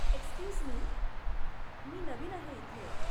Excuse me, , मी नवीन आहे इथे.